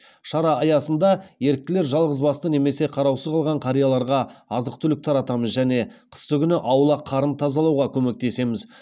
шара аясында еріктілер жалғыз басты немесе қараусыз қалған қарияларға азық түлік таратамыз және қыстыгүні аула қарын тазалауға көмектеміз